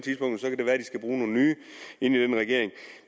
skal bruge nogle nye i regeringen